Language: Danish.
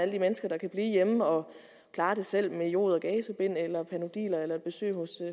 de mennesker der kan blive hjemme og klare det selv med jod og gazebind eller panodiler eller besøg hos